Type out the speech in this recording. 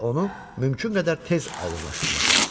Və onu mümkün qədər tez aydınlaşdırmaq lazımdır.